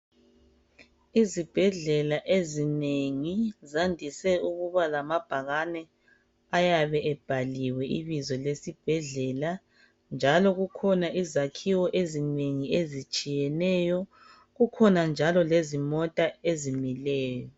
Izibhedlela ezinengi zandise ukuba lamabhakane ayabe ebhaliwe ibizo lesibhedlela njalo kukhona izakhiwo ezinengi ezitshiyeneyo kukhona njalo lezimota ezimileyo.